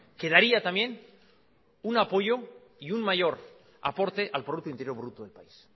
que daría también un apoyo y un mayor aporte al producto interior bruto del país